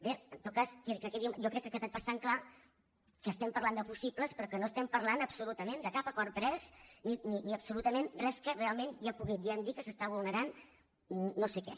bé en tot cas jo crec que ha quedat bastant clar que estem parlant de possibles però que no estem parlant absolutament de cap acord pres ni absolutament res que realment ja podríem dir que s’està vulnerant no sé què